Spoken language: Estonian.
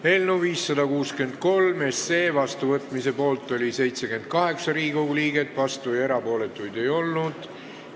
Hääletustulemused Eelnõu 563 seadusena vastuvõtmise poolt oli 78 Riigikogu liiget, vastuolijaid ega erapooletuid ei olnud.